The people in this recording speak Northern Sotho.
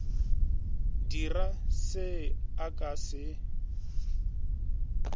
dire se a ka se